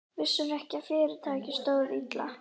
Vissirðu ekki að fyrirtækið stóð illa?